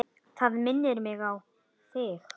Það minnir mig á þig.